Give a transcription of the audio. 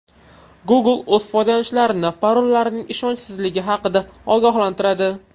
Google o‘z foydalanuvchilarini parollarining ishonchsizligi haqida ogohlantiradi.